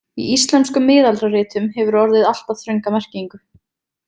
Í íslenskum miðaldaritum hefur orðið alltaf þrönga merkingu.